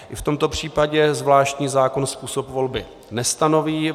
I v tomto případě zvláštní zákon způsob volby nestanoví.